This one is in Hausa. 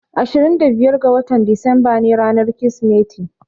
Ashirin da biyar ga watan Disamba ne ranar Kirsimeti.